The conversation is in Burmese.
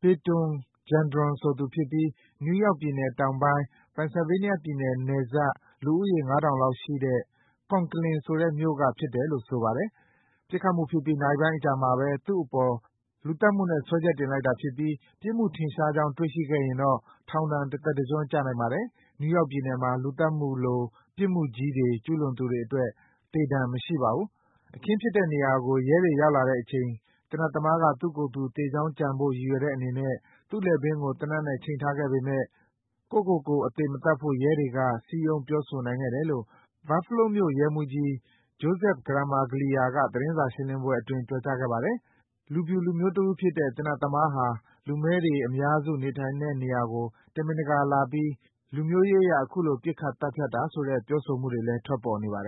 Payton Gendron ဆိုသူဖြစ်ပြီး နယူးယောက်ပြည်နယ်တောင်ပိုင်း၊ Pennsylvania ပြည်နယ် နယ်စပ် လူဦးရေ ၅,၀၀၀ လောက်ရှိတဲ့ Conklin ဆိုတဲ့မြို့ကဖြစ်တယ်လို့ ဆိုပါတယ်။ ပစ်ခတ်မှုဖြစ်ပြီး နာရီပိုင်းအကြာမှာပဲ သူ့အပေါ် လူသတ်မှုနဲ့ တရားစွဲဆိုလိုက်တာဖြစ်ပြီး ပြစ်မှုထင်ရှားကြောင်း တွေ့ရှိခဲ့ရင်တော့ ထောင်ဒဏ်တသက်တကျွန်း ကျနိုင်ပါတယ်။ နယူးယောက်ပြည်နယ်မှာ လူသတ်မှုလို ပြစ်မှုကြီး ကျူးလွန်သူတွေအတွက် သေဒဏ် မရှိပါဘူး။ အခင်းဖြစ်တဲ့နေရာကို ရဲတွေရောက်လာတဲ့အချိန် သေနတ်သမားက သူ့ကိုယ်သူ သေကြောင်းကြံဖို့ ရည်ရွယ်တဲ့အနေနဲ့ သူ့လည်ပင်းကို သေနတ်နဲ့ ချိန်ထားခဲ့ပေမဲ့ ကိုယ့်ကိုကိုယ် သတ်မသေဖို့ ရဲတွေက စည်းရုံးပြောဆိုနိုင်ခဲ့တယ်လို့ Buffalo မြို့နယ် ရဲမှူးကြီး Joseph Gramaglia က သတင်းစာရှင်းလင်းပွဲအတွင်း ပြောကြားခဲ့ပါတယ်။ လူဖြူလူမျိုးတဦးဖြစ်တဲ့ သေနတ်သမားဟာ လူမည်းတွေအများစုနေထိုင်တဲ့ နေရာကို တမင်တကာလာပြီး လူမျိုးရေးအရ အခုလို ပစ်ခတ် သတ်ဖြတ်တာဆိုတဲ့ ပြောဆိုမှုတွေလည်း ထွက်နေပါတယ်